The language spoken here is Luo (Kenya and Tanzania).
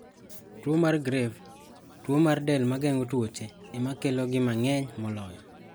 Tuwo mar grave, tuwo mar del mageng'o tuoche, emakelo gi mang'eny moloyo.